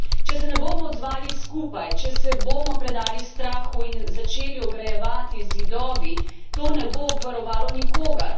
Če se ne bomo odzvali skupaj, če se bomo predali strahu in začeli ograjevati z zidovi, to ne bo obvarovalo nikogar.